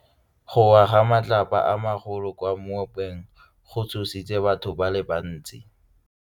Go wa ga matlapa a magolo ko moepong go tshositse batho ba le bantsi.